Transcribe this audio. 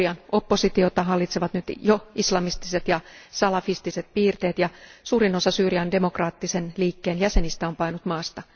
Syyrian oppositiota hallitsevat nyt jo islamistiset ja salafistiset piirteet, ja suurin osa Syyrian demokraattisen liikkeen jäsenistä on paennut maasta.